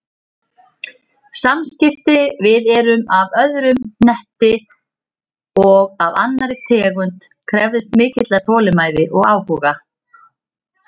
Samskipti við veru af öðrum hnetti og af annarri tegund krefðist mikillar þolinmæði og áhuga.